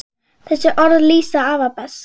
Þessi orð lýsa afa best.